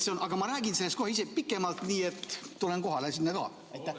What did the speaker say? Aga ma räägin sellest kohe ise pikemalt, nii et tulen sinna kohale.